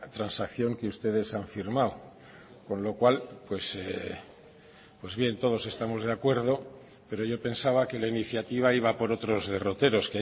transacción que ustedes han firmado con lo cual pues bien todos estamos de acuerdo pero yo pensaba que la iniciativa iba por otros derroteros